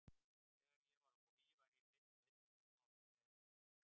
Þegar ég var á Vogi var ég hreinn sveinn en nú á ég kærustu.